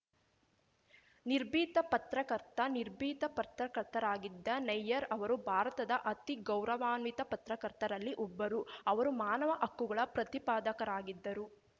ನಿರ್ಭೀತ ಪತ್ರಕರ್ತ ನಿರ್ಭೀತ ಪತ್ರಕರ್ತರಾಗಿದ್ದ ನಯ್ಯರ್ ಅವರು ಭಾರತದ ಅತಿ ಗೌರವಾನ್ವಿತ ಪತ್ರಕರ್ತರಲ್ಲಿ ಒಬ್ಬರು ಅವರು ಮಾನವ ಹಕ್ಕುಗಳ ಪ್ರತಿಪಾದಕರಾಗಿದ್ದರು